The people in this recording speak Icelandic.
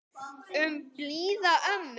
Um blíða ömmu.